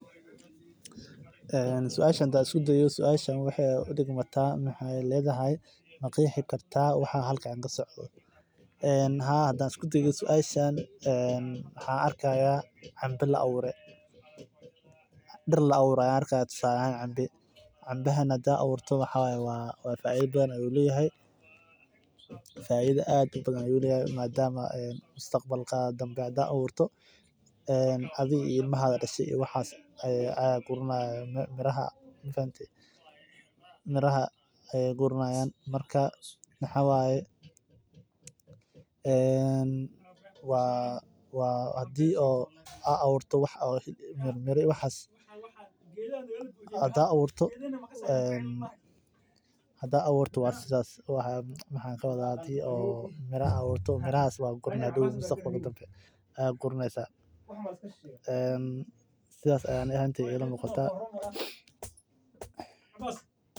Een suashan xadhaan iskudayo, sualshan wayan udigmata, maxay ledaxay ma qeexi karta waxa halkan kasocdho, een xadaan iskudayo waxay ledaxay suashan enn maxaan arkaya canba laawure, diir laawure ayan arkixayaa, tusale ahan canbee, canbaxan xadad awurto wxaa wye wa fida badan ayu leyaxay, faidha ad ubadhan ayu leyahay, madamu ee mustaqbalka dambe xadad awurto, een adhi iyo ilmaha dashee iyo waxas aya guranayo, miraha mafahante, miraha aya quranayan marka maxaa wayee, een waa waa xadhi oo a awurto wax mira iyo waxas xadha awurto, wa sidhas waxan kawadha xadi oo miraa awurtoxadow mustaqbalka dambe aya quraneysaa, een sidhas aya ani ahantey ilamuqataa